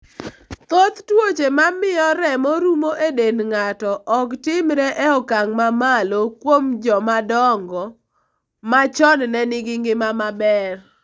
Thoth tuoche ma miyo remo rumo e dend ng'ato, ok timre e okang ' mamalo kuom joma dongo ma chon ne nigi ngima maber.